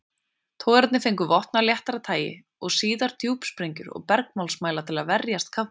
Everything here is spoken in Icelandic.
Togararnir fengu vopn af léttara tagi og síðar djúpsprengjur og bergmálsmæla til að verjast kafbátum.